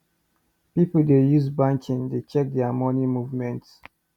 people dey use phone banking dey check there money movement